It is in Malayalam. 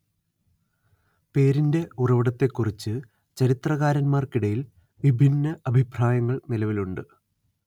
പേരിന്റെ ഉറവിടത്തെക്കുറിച്ച് ചരിത്രകാരന്മാർക്കിടയിൽ വിഭിന്ന അഭിപ്രായങ്ങൾ നിലവിലുണ്ട്